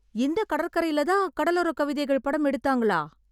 இந்த கடற்கரையிலே தான் கடலோரக் கவிதைகள் படம் எடுத்தாங்களா?